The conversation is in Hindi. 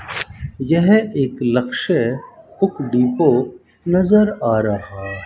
यह एक लक्ष्य बुक डिपो नजर आ रहा--